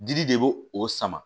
Dili de b'o o sama